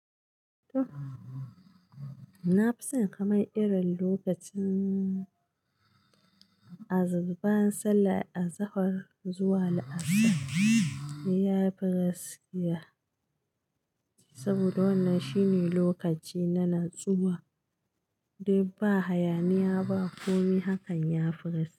To! Na fi son kama irin lokacin banyan sallah a zahar zuwa la'asar, ya fi rasikiya saboda wannan shine lokaci na natsuwa dai ba hayaniya ba kome hakan ya fi gasikiya.